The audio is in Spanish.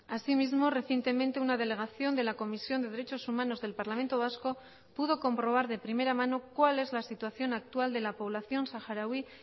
asimismo recientemente una delegación de la comisión de derechos humanos del parlamento vasco pudo comprobar de primera mano cuál es la situación actual de la población saharaui